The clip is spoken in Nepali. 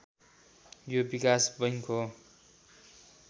यो विकास बैङ्क हो